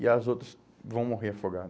E as outras vão morrer